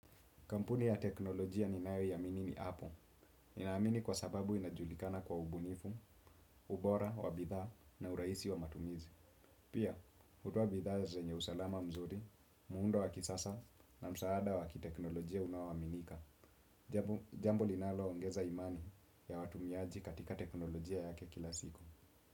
Kampuni ya teknolojia ninayoiamini ni apple. Ninaamini kwa sababu inajulikana kwa ubunifu, ubora, wa bidhaa na urahisi wa matumizi. Pia, hutoa bidhaa zenye usalama mzuri, muundo wa kisasa na msaada wa kiteknolojia unaoaminika. Jambo linaloongeza imani ya watumiaji katika teknolojia yake kila siku.